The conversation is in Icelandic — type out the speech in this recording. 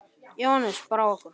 Jóhannes: Brá ykkur?